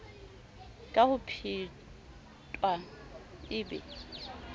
ka ho phetwa e be